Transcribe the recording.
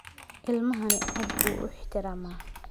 Ilmahani aad buu u ixtiraamaa.